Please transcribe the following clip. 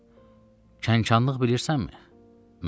Kənxanlıq bilirsənmi?